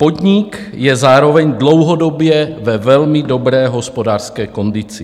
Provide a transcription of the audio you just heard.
Podnik je zároveň dlouhodobě ve velmi dobré hospodářské kondici.